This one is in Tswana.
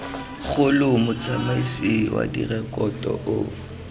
kgolo motsamaisi wa direkoto o